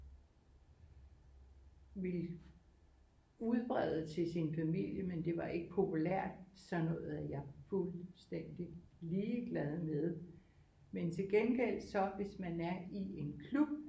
Vil udbrede til sin familie men det var ikke populært sådan noget er jeg fuldstændig ligeglad med men til gengæld så hvis man er i en klub